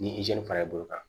Ni fara i bolo kan